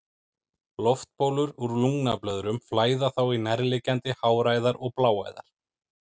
Loftbólur úr lungnablöðrum flæða þá í nærliggjandi háræðar og bláæðar.